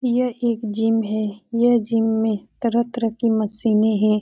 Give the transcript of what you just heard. यह एक जिम है। यह जिम में तरह - तरह की मशीनें हैं।